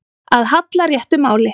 Að halla réttu máli